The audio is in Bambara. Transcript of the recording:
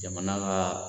Jamana ka